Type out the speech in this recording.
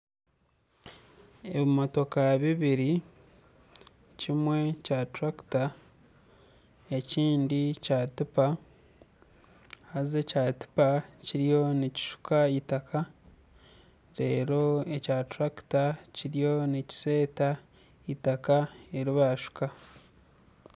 Ebimotoka bibiri kimwe kya turakita ekindi kya tipa. Haza ekya tipa kiriyo nikishuka eitaka. Reero ekya turakita kiriyo nikiseeta eitaka eri baashuka.